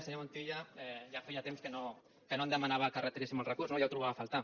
senyor montilla ja feia temps que no em demanava que retiréssim el recurs no ja ho trobava a faltar